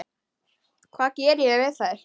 Hvað ég geri við þær?